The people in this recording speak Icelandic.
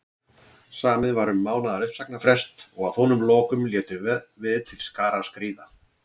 Samið var um mánaðar uppsagnarfrest og að honum loknum létum við til skarar skríða.